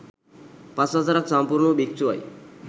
පස් වසරක් සම්පූර්ණ වූ භික්ෂුවයි.